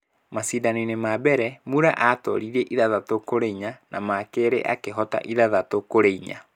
Macindano-inĩ ma mbere, Muller aatooririe 6-4 na ma kerĩ akĩhoota 6-4.